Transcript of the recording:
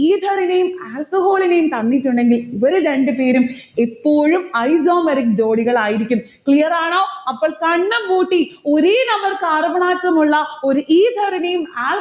ether നേയും alcohol നേയും തന്നിട്ടുണ്ടെങ്കിൽ ഇവരെ രണ്ട് പേരും എപ്പോഴും isomeric ജോഡികൾ ആയിരിക്കും. clear ആണോ? അപ്പോൾ കണ്ണും പൂട്ടി ഒരേ number carbon atom ഉള്ള ഒരു ether ഇനിയും